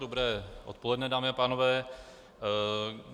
Dobré odpoledne, dámy a pánové.